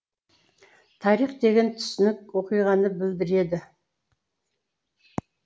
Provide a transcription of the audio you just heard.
тарих деген түсінік оқиғаны білдіреді